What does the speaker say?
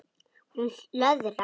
Hún löðrar.